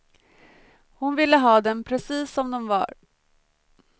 Hon ville ha dem precis som de var.